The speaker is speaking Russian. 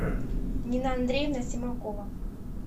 нина андреевна симакова